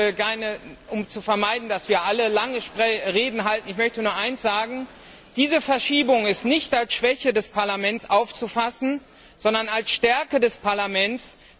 Ich möchte nur eines sagen Diese Verschiebung ist nicht als Schwäche des Parlaments aufzufassen, sondern als Stärke des Parlaments.